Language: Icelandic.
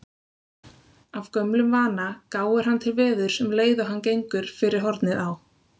Af gömlum vana gáir hann til veðurs um leið og hann gengur fyrir hornið á